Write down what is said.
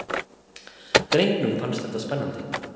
Drengnum fannst þetta spennandi.